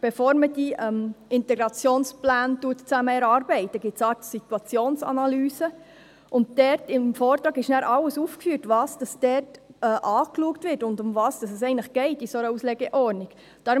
Bevor man die Integrationspläne zusammen erarbeitet, gibt es eine Situationsanalyse, und im Vortrag ist alles aufgeführt, was dort angeschaut wird und um was es in einer solchen Auslegeordnung eigentlich geht.